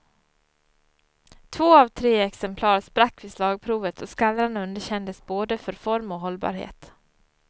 Två av tre exemplar sprack vid slagprovet och skallran underkändes både för form och hållbarhet.